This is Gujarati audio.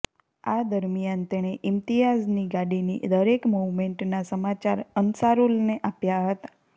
આ દરમિયાન તેણે ઈમ્તિયાઝની ગાડીની દરેક મૂવમેન્ટના સમાચાર અન્સારુલને આપ્યા હતા